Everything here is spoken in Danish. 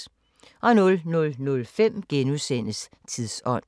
00:05: Tidsånd *